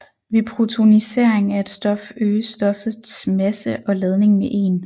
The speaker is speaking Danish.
Ved protonisering af et stof øges stoffets masse og ladning med 1